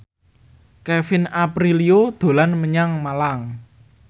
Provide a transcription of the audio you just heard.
Kevin Aprilio dolan menyang Malang